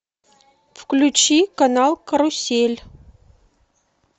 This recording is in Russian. включи канал карусель